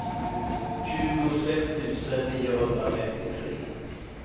tjugosex tusen niohundrafemtiotre